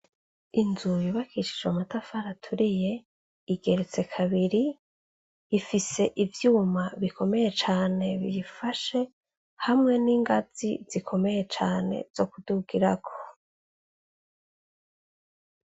Inzu yubakishijwe amatafari aturiye igeretse kabiri. Ifise ivyuma bikomeye cane biyifashe hamwe n'ingazi zikomeye cane zo kudugirako.